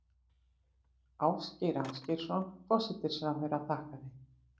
Ásgeir Ásgeirsson forsætisráðherra þakkaði